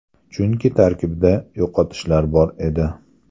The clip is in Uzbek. Chunki tarkibda yo‘qotishlar bor edi.